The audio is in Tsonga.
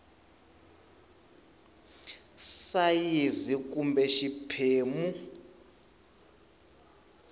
sayizi ya a kumbe xiphemu